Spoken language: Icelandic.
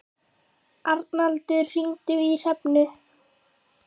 Arnaldur, hringdu í Hrefnu.